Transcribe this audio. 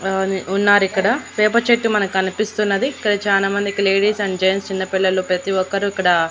ఆ ఉన్నారు ఇక్కడ వేప చెట్టు మనకి కనిపిస్తున్నది ఇక్కడ చానామందికి లేడీస్ అండ్ జెంట్స్ చిన్నపిల్లలు ప్రతి ఒక్కరూ ఇక్కడ.